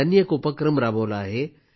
त्यांनी एक उपक्रम राबवला आहे